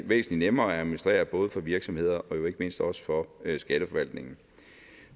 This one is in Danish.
væsentlig nemmere at administrere både for virksomheder og mindst også for skatteforvaltningen